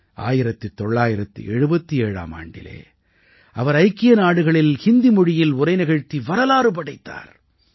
1977ஆம் ஆண்டிலே அவர் ஐக்கிய நாடுகளில் ஹிந்தி மொழியில் உரை நிகழ்த்தி வரலாறு படைத்தார்